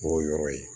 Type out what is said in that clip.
O yɔrɔ ye